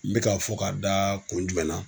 N bɛ k'a fɔ ka da kun jumɛn na.